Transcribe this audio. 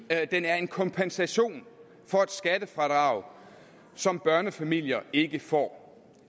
at den er en kompensation for et skattefradrag som børnefamilier ikke får